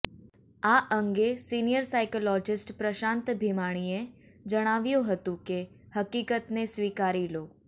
આ અંગે senior psychologist Prashant ભીમાણીએ જણાવ્યું હતું કે હકીકતને સ્વીકારી લો